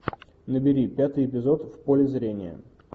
набери пятый эпизод в поле зрения